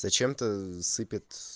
зачем-то сыпет